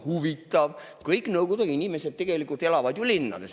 Huvitav, kõik nõukogude inimesed tegelikult elavad ju linnades.